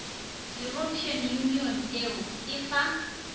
european union eu e fa